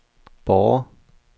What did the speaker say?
Borre